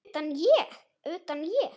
Utan, ég?